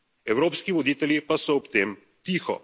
Evropski voditelji pa so ob tem tiho.